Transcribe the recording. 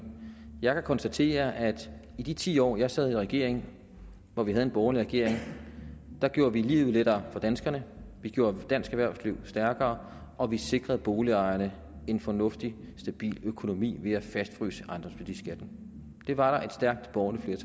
jeg kan konstatere at i de ti år jeg sad i regering og hvor vi havde en borgerlig regering gjorde vi livet lettere for danskerne vi gjorde dansk erhvervsliv stærkere og vi sikrede boligejerne en fornuftig stabil økonomi ved at fastfryse ejendomsværdiskatten det var der et stærkt borgerligt